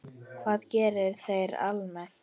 Hvað gera þeir almennt?